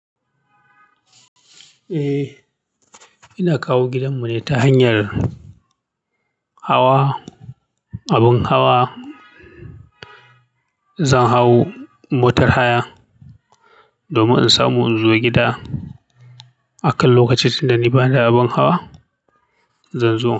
Eh, ina kawo gidan mu ne ta hanyar hawa, abun hawa. Zan hau motar haya domin in samu in zo gida. Akan lokaci tunda ni bani da abin hawa, zan zo.